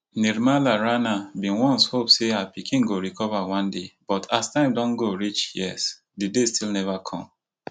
nirmala rana bin once dey hope say her pikin go recover one day but as time don go reach years di day still neva come